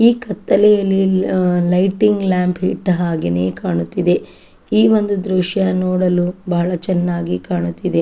ಈ ಕತ್ತಲೆ ಯಲ್ಲಿ ಲೈಟಿಂಗ್ ಲ್ಯಾಂಪ್ ಅಹ್ ಇಟ್ಟ ಹಾಗೆ ಕಾಣುತ್ತಿದೆ. ಈ ಒಂದು ದೃಶ್ಯ ನೋಡಲು ಬಹಳ ಚೆನ್ನಾಗಿ ಕಾಣುತ್ತಿದೆ.